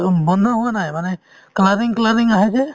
অ, বন্ধ হোৱা নাই মানে আহে যে